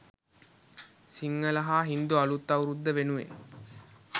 සිංහල හා හින්දු අලුත් අවුරුද්ද වෙනුවෙන්